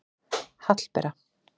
Hallbera